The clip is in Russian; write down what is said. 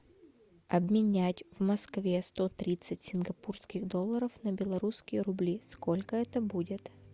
обменять в москве сто тридцать сингапурских долларов на белорусские рубли сколько это будет